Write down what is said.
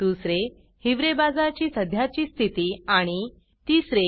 2हिवरे बाजार ची सध्याची स्थिती आणि 3